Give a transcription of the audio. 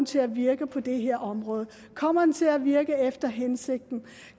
til at virke på det her område kommer den til at virke efter hensigten